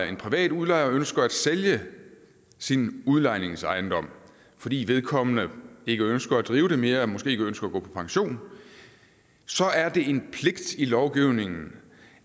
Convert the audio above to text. en privat udlejer ønsker at sælge sin udlejningsejendom fordi vedkommende ikke ønsker at drive den mere eller måske ønsker at gå på pension så er det en pligt i lovgivningen